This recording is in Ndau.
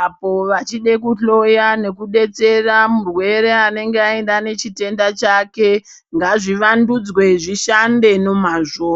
apo wachida kuhloya nekubetsera murwere anenge aenda nechitenda chake ngazvivandudzwe zvishande nemazvo.